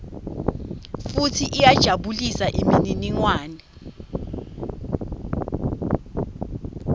futsi iyajabulisa imininingwane